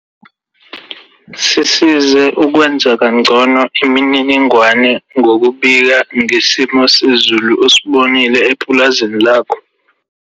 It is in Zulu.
Sisize ukwenza ngcono imininingwane ngokubika ngesimo sezulu osibonile epulazini lakho.